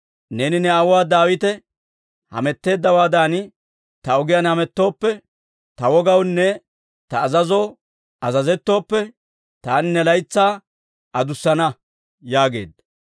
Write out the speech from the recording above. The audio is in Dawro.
Neeni ne aawuu Daawite hametteeddawaadan ta ogiyaan hamettooppe, ta wogawunne ta azazoo azazettooppe, taani ne laytsaa adussana» yaageedda.